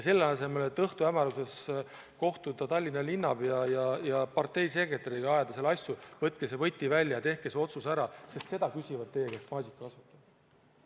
Selle asemel et õhtuhämaruses kohtuda Tallinna linnapeaga ja parteisekretäriga, ajada asju, võtke see võti välja ja tehke see otsus ära, sest seda küsivad teie käest maasikakasvatajad.